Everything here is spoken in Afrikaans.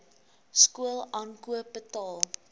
skool aankoop betaal